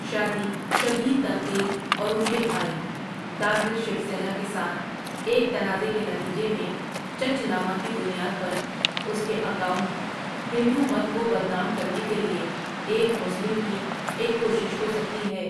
شادی شدید تنقید اور ان کے بھائی، داہر شوسینا کے ساتھ ایک تنازعے کے نتیجے میں چچ نامہ کی بنیاد پر اس کے اکاؤنٹ،، ہندو مت کو بدنام کرنے کے لیے ایک مسلم کی ایک کوشش ہو سکتی ہے ۔